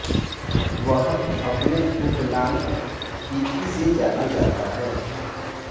वह अपने उपनाम पिकी से जाना जाता है